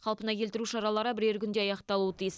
қалпына келтіру шаралары бірер күнде аяқталуы тиіс